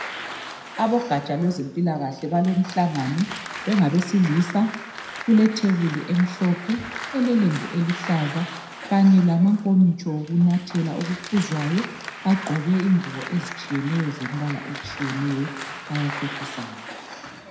Abogatsha lwezempilakahle balomhlangano bengabesilisa kuletebuli emhlophe elelembu eluhlaza kanye lamankomitsho okunathela okuphuzwayo bagqoke ingubo ezitshiyeneyo zembala etshiyeneyo bayaxoxisana